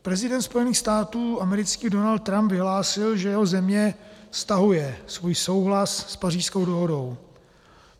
Prezident Spojených států amerických Donald Trump vyhlásil, že jeho země stahuje svůj souhlas s Pařížskou dohodou.